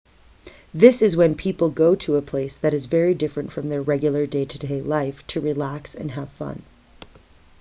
this is when people go to a place that is very different from their regular day-to-day life to relax and have fun